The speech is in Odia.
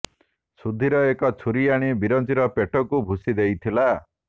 ସୁଧୀର ଏକ ଛୁରୀ ଆଣି ବିରଞ୍ଚିର ପେଟକୁ ଭୁସୀ ଦେଇଥିଲା